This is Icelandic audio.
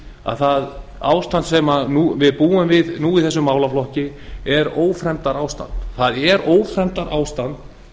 að það ástand sem við búum við í þessum málaflokki er ófremdarástand það er ófremdarástand